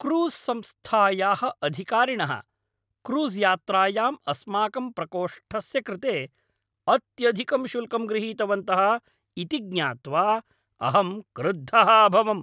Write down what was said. Cruise संस्थायाः अधिकारिणः क्रूस्यात्रायां अस्माकं प्रकोष्ठस्य कृते अत्यधिकं शुल्कं गृहीतवन्तः इति ज्ञात्वा अहं क्रुद्धः अभवम्।